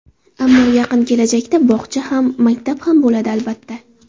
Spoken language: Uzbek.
Ammo yaqin kelajakda bog‘cha ham, maktab ham bo‘ladi, albatta.